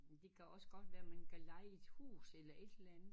Det kan også godt være man kan leje et hus eller et eller andet